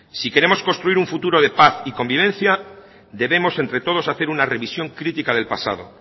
si queremos construir un futuro de paz y convivencia debemos entre todos hacer una revisión crítica del pasado